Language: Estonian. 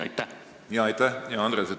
Aitäh, hea Andres!